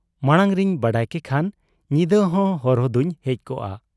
ᱢᱟᱬᱟᱝ ᱨᱤᱧ ᱵᱟᱰᱟᱭ ᱠᱮᱠᱷᱟᱱ ᱧᱤᱫᱟᱹᱦᱚᱸ ᱦᱚᱨᱦᱚ ᱫᱚᱧ ᱦᱮᱡ ᱠᱚᱜ ᱟ ᱾